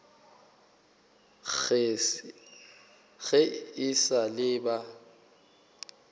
ge e sa le ba